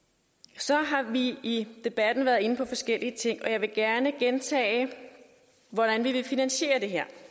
så har vi i debatten været inde på forskellige ting og jeg vil gerne gentage hvordan vi vil finansiere det her